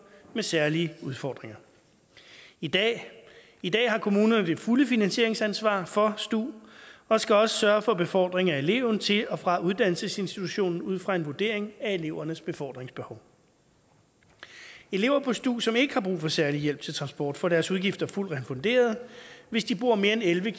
med særlige udfordringer i dag i dag har kommunerne det fulde finansieringsansvar for stu og skal også sørge for befordring af eleverne til og fra uddannelsesinstitutionen ud fra en vurdering af elevernes befordringsbehov elever på stu som ikke har brug for særlig hjælp til transport får deres udgifter fuldt refunderet hvis de bor mere end elleve